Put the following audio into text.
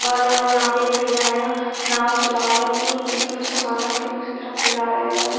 अरे और यहां पर भैया आएगा नाव चला रहें हैं सामान रख कर दूसरी तरफ ले जा रहें हैं।